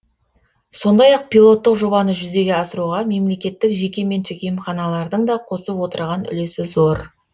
сондай ақ пилоттық жобаны жүзеге асыруға мемлекеттік жеке меншік емханалардың да қосып отырған үлесі зор